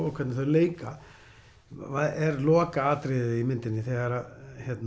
og hvernig þau leika er lokaatriðið í myndinni þegar